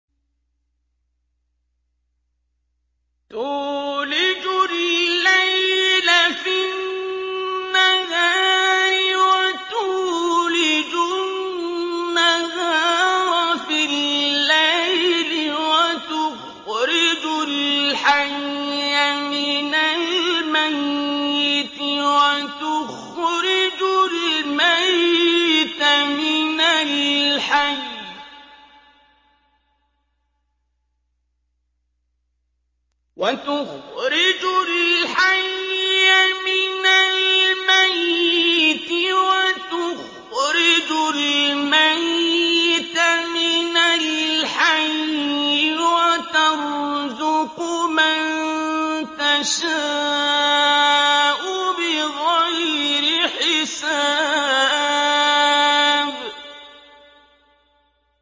تُولِجُ اللَّيْلَ فِي النَّهَارِ وَتُولِجُ النَّهَارَ فِي اللَّيْلِ ۖ وَتُخْرِجُ الْحَيَّ مِنَ الْمَيِّتِ وَتُخْرِجُ الْمَيِّتَ مِنَ الْحَيِّ ۖ وَتَرْزُقُ مَن تَشَاءُ بِغَيْرِ حِسَابٍ